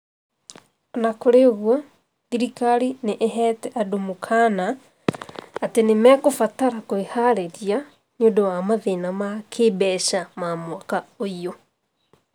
O na kũrĩ ũguo, thirikari nĩ ĩheete andũ mũkaana atĩ nĩ mekũbatara kwĩharĩria nĩ ũndũ wa mathĩna ma kĩĩmbeca ma mwaka ũyũ.